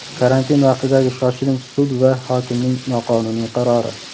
Karantin vaqtidagi shoshilinch sud va hokimning noqonuniy qarori.